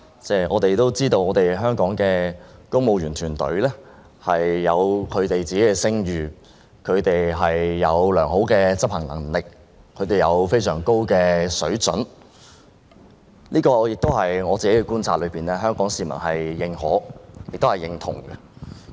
大家都知道，香港的公務員團隊有一定聲譽，有良好的執行能力和非常高的水準，據我觀察，這是香港市民認可和認同的。